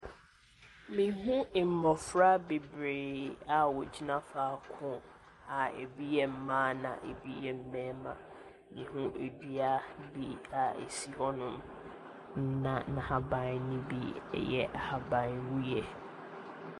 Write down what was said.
Mehu mmɔfra bebree a wɔgyina faako a ebi yɛ mmaa na ebi yɛ mmarima. Mehu dua bi a ɛsi hɔnom, na n'ahaban no bi yɛ ahaban wuiɛ.